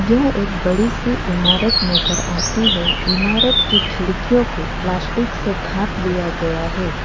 यह एक बड़ी सी इमारत नजर आती है इमारत की खिड़कियों को प्लास्टिक से ढाक लिया गया है।